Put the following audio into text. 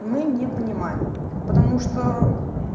мы не понимаем потому что